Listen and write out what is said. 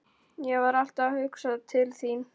Ég var alltaf að hugsa til þín.